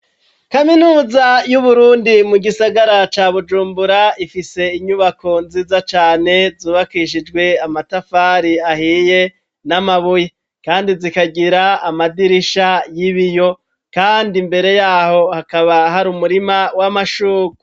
Kaminuza y'Uburundi mu gisagara ca Bujumbura ifise inyubako nziza cane zubakishijwe amatafari ahiye n'amabuye ,kandi zikagira amadirisha y'ibiyo, kandi mbere yaho hakaba hari umurima w'amashugwe.